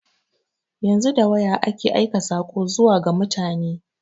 Yanzu da waya ake aika saƙo zuwa ga mutane.